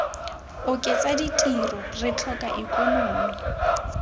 oketsa ditiro re tlhoka ikonomi